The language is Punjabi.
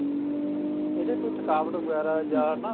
ਇਹਦੇ ਕੋਈ ਥਕਾਵਟ ਵਗੈਰਾ ਜਾ ਨਾ